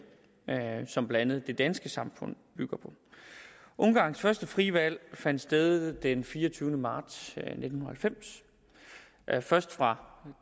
som blandt andet det danske samfund bygger på ungarns første frie valg fandt sted den fireogtyvende marts nitten halvfems først fra